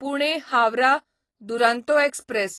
Pune Howrah Duronto express